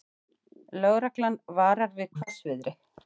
Lögreglan varar við hvassviðri